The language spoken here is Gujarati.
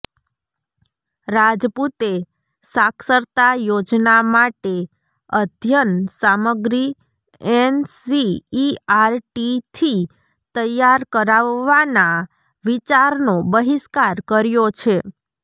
રાજપૂતે સાક્ષરતા યોજના માટે અધ્યન સામગ્રી એનસીઈઆરટીથી તૈયાર કરાવવાના વિચારનો બહિષ્કાર કર્યો છે